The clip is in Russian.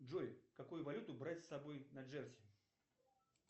джой какую валюту брать с собой на джерси